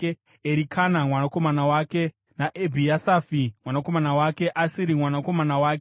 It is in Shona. Erikana mwanakomana wake, naEbhiasafi mwanakomana wake, Asiri mwanakomana wake,